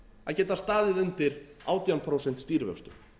að geta staðið undir átján prósent stýrivöxtum